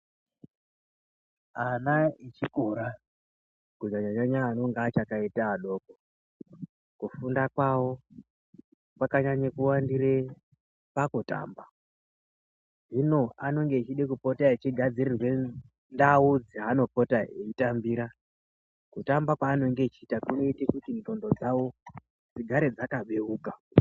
Ana echikora kunyanya nyanya anenge achakaita adoko kufunda kwawo kwakanyanya kuwandire pakutamba hino anenge echida kupota echigadzirirwe ndawu dzaanopota eyitambira kuramba kwavanenge achiita kunoitei kuti ngqondo dzawo dzigare dzakabewuka.